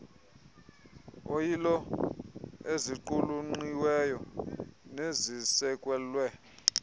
oyilo eziqulunqiweyo nezisekelwe